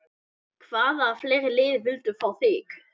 Hvaða fleiri lið vildu fá þig?